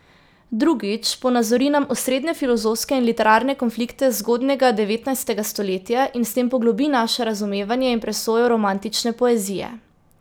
Drugič, ponazori nam osrednje filozofske in literarne konflikte zgodnjega devetnajstega stoletja, in s tem poglobi naše razumevanje in presojo romantične poezije.